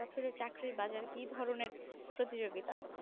বছরে চাকরির বাজারে কি ধরনের প্রতিযোগিতা?